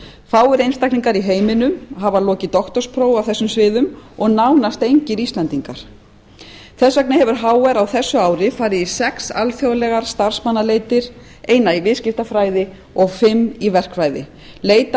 fáir einstaklingar í heiminum hafa lokið doktorsprófi á þessum sviðum og nánast engir íslendingar þess vegna hefur hr á þessu ári farið í sex alþjóðlegar starfsmannaleitir eina í viðskiptafræði og fimm í verkfræði leitað